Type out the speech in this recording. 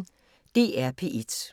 DR P1